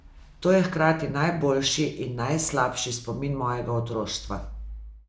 To je hkrati najboljši in najslabši spomin mojega otroštva.